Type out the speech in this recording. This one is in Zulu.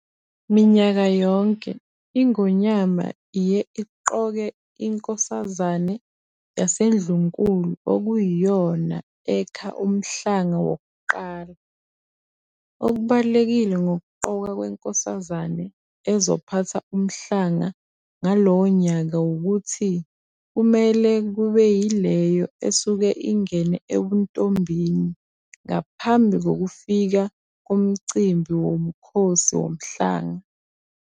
Minyaka yonke iNgonyama iye iqoke iNkosazane yaseNdlunkulu okuyiyona ekha umhlanga wokuqala. Okubalulekile ngokuqokwa kweNkosazane ezophatha umhlanga ngalowo nyaka wukuthi kumele kube yileyo esuke ingene ebuntombini ngaphambi kokufika komcimbi woMkhosi Womhlanga.